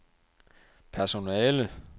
personale